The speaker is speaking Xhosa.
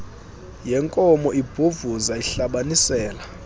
yenkomo ibhovuza ihlabanisela